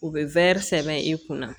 U bɛ sɛbɛn i kunna